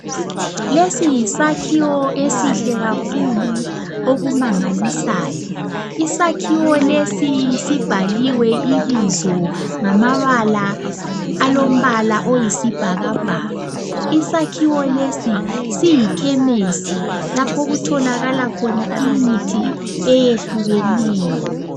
Lesi yisakhiwo esihle kakhulu okumangalisayo. Isakhiwo lesi sibhaliwe ibizo ngamabala alombala oyisibhakabhaka. Isakhiwo lesi siyikhemesi lapho okutholakala khona imithi eyehlukeneyo.